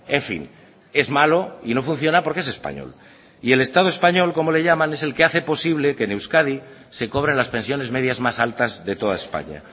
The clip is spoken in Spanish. en fin es malo y no funciona porque es español y el estado español como le llaman es el que hace posible que en euskadi se cobren las pensiones medias más altas de toda españa